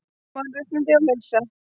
Mannréttindi og heilsa